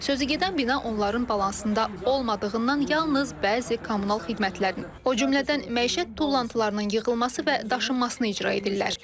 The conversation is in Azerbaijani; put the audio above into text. sözügedən bina onların balansında olmadığından yalnız bəzi kommunal xidmətlərini, o cümlədən məişət tullantılarının yığılması və daşınmasını icra edirlər.